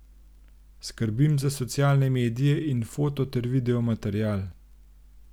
Skrbim za socialne medije in foto ter video material.